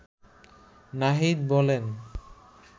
নাহিদ বলেন